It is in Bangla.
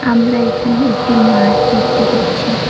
আমরা এখানে একটি মাঠ দেখতে পাচ্ছি।